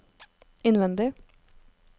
innvendig